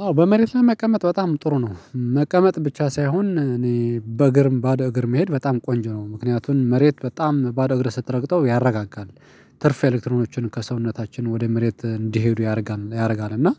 አዎ በመሬት ላይ መቀመጥ በጣም ጥሩ ነው መቀመጥ ብቻ ሳይሆን እኔ በእግር ባዶ እግር መሄድ በጣም ቆንጅ ነው ምክንያቱን መሬት በጣም ባዶ እግር ስትረግጠው ያረጋጋል። ትርፍ ኤሌክትሮኖችን ከሰውነታችን ወደ መሬት እንዲሄዱ ያደርጋል ያደርጋል። እና